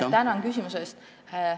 Tänan küsimuse eest!